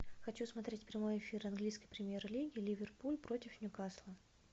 хочу смотреть прямой эфир английской премьер лиги ливерпуль против ньюкасла